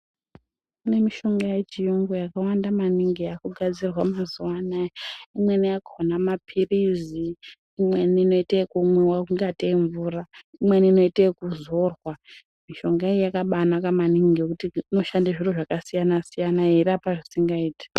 Pane mishonga yechiungu yakawanda maningi yakugadzirwa mazuva ana imweni yakona mapilizi imweni inoita ekumwiwa kungatei mvura imweni inoitwa ekuzorwa mishonga iyi yakabainaka maningi ngekuti inoshanda zviro zvakasiyana siyana yeirapa zvisingaiti.